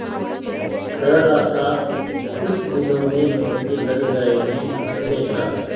कह रहा था कुछ दिनों में नौकरी लग जाएगी हमेशा